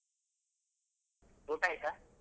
ಊಟಾಯ್ತ?